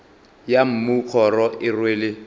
ya mmu kgoro e rwele